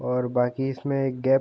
और बाकि इसमें एक गैप --